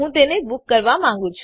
હું તેને બૂક કરવા માંગું છે